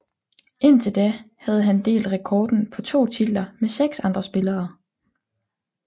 Indtil da havde han delt rekorden på to titler med seks andre spillere